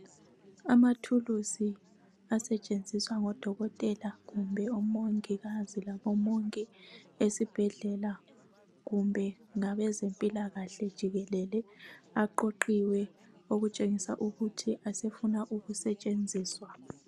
Amathulusi asetshenziswa ngodokotela kumbe ngomongikazi labomongi esibhedlela kumbe ngabezempilakahle jikelele aqoqiwe okutshengisa ukuthi asefuna ukusetshenziswa.